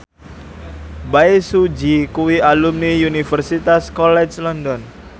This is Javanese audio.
Bae Su Ji kuwi alumni Universitas College London